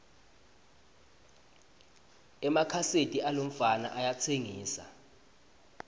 emakhaseti alomfana ayatsengisa